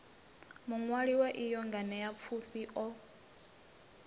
muṅwali wa iyi nganeapfufhi o